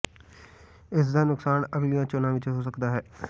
ਇਸ ਦਾ ਨੁਕਸਾਨ ਅਗਲੀਆਂ ਚੋਣਾਂ ਵਿਚ ਹੋ ਸਕਦਾ ਹੈ